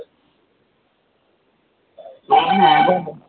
হ্যাঁ বলো